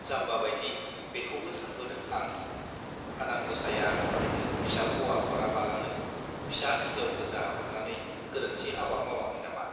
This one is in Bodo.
जाम्बा बाइदि बेखौबो सानबोदों आं- आनान गसाइया आंनो फिसा हौवा हराबालानो फिसा हिन्जाव गोजा हरनानै गोरोन्थि हाबा मावआखै नामा!